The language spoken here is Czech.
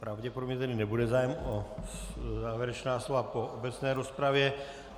Pravděpodobně tedy nebude zájem o závěrečná slova po obecné rozpravě.